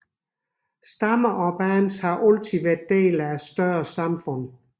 Stammer og bands kan også være dele af større samfund